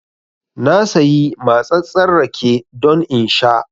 Na sayi matsattsen rake don in sha